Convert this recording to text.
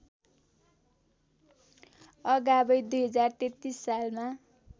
अगावै २०३३ सालमा